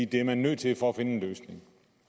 det er man nødt til for at finde en løsning